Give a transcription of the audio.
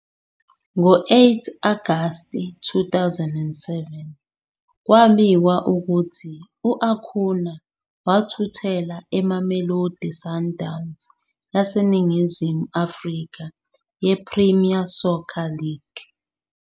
Ngo-8 Agasti 2007, kwabikwa ukuthi u-Acuña wathuthela eMamelodi Sundowns yaseNingizimu Afrika yePremier Soccer League.